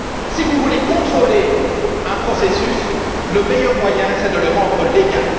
Si vous voulez contrôler un processus, le meilleur moyen est de le rendre légal.